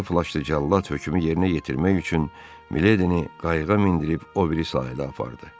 Qırmızı flaşlı cəllad hökmü yerinə yetirmək üçün Miledini qayıqa mindirib o biri sahilə apardı.